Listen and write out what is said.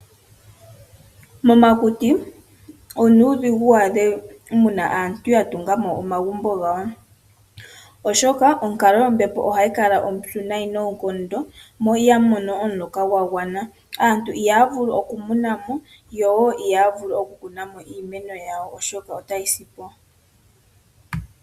Momakuti onuudhigu waadhe muna aantu ya tunga mo omagumbo gawo, oshoka onkalo yombepo ohayi kala ompyu noonkondo mo ihamu mono omuloka gwa gwana, aantu ihaya vulu oku muna na mo yo ihaya vulu oku kuna mo iimeno yawo, oshoka otayi simo.